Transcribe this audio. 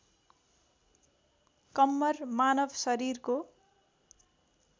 कम्मर मानव शरीरको